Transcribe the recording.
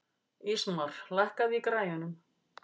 Ísmar, lækkaðu í græjunum.